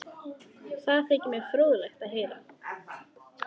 Daðína stóð við stafngluggann og sneri við þeim baki.